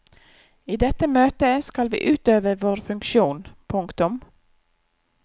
I dette møtet skal vi utøve vår funksjon. punktum